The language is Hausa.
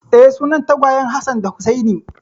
Eh, sunan tagwayen Hassan da Hussaini.